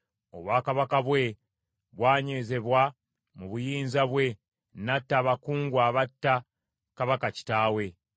Obwakabaka bwe bwanywezebwa mu buyinza bwe, n’atta abakungu abatta kabaka kitaawe.